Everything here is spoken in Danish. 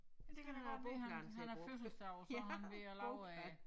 Det kan da godt være han han har fødselsdag og sådan ved at lave en